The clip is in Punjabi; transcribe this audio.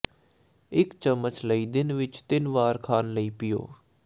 ਇਕ ਚਮਚ ਲਈ ਦਿਨ ਵਿੱਚ ਤਿੰਨ ਵਾਰ ਖਾਣ ਲਈ ਪੀਓ